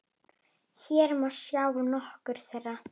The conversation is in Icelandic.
Hér má sjá nokkur þeirra.